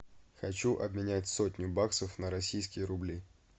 хочу обменять сотню баксов на российские рубли